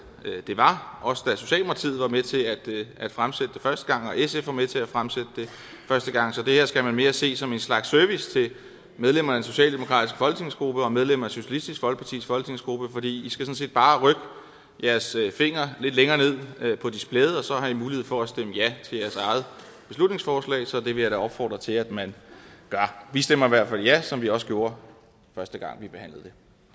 var også da socialdemokratiet var med til at fremsætte det første gang og da sf var med til at fremsætte det første gang så det her skal man mere se som en slags service til medlemmerne af den socialdemokratiske folketingsgruppe og medlemmerne af socialistisk folkepartis folketingsgruppe for i skal sådan set bare rykke jeres finger lidt længere ned på displayet og så har i mulighed for at stemme ja til jeres eget beslutningsforslag så det vil jeg da opfordre til at man gør vi stemmer i hvert fald ja som vi også gjorde første gang vi behandlede